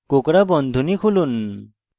কোঁকড়া বন্ধনী খুলুন